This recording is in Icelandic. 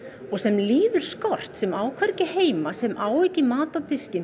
og sem líður skort sem á hvergi heima sem á ekki mat á diskinn